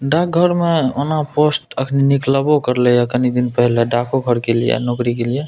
डाक घर में ओना पोस्ट अखनी निकलबो करलई हे तनी दिन पहले डाको घर के लिए नौकरी के लिए।